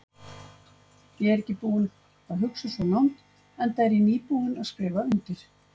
Ég er ekki búinn að hugsa svo langt, enda er ég nýbúinn að skrifa undir.